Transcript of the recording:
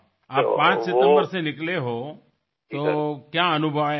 अरे वा आपण 5 सप्टेंबर रोजी रवाना झाले आहात तर आपला आतापर्यंतचा अनुभव काय आहे